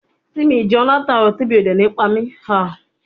Ta ni yóò bá mi ṣí àkáǹtì lórí ìkànnì onífarakínra ní ọ̀la